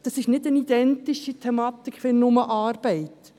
Das ist nicht eine identische Thematik wie nur die Arbeit.